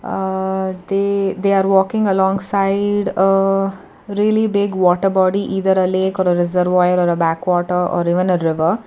haa they they are walking along side haa really big water body either a lake are reservoir or a backwater or even a river.